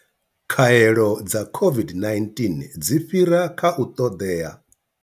Khaelo dza COVID-19 dzi fhira kha u ṱoḓea.